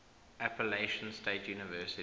appalachian state university